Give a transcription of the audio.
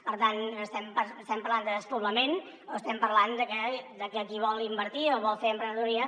per tant estem parlant de despoblament o estem parlant de que qui vol invertir o vol fer emprenedoria